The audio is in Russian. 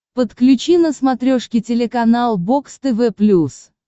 подключи на смотрешке телеканал бокс тв плюс